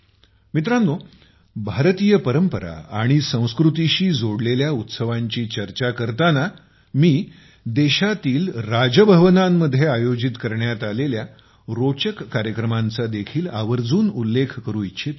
मित्रांनो भारतीय परंपरा आणि संस्कृतीशी जोडलेल्या उत्सवांची चर्चा करताना मी देशातील राजभवनांमध्येआयोजित करण्यात आलेल्या रोचक कार्यक्रमांचा देखील आवर्जून उल्लेख करू इच्छितो